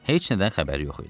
Heç nədən xəbəri yox idi.